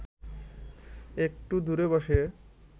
একটু দূরে বসে